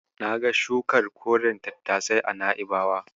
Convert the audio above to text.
Na ga shukar koren tattasai a Na'ibawa.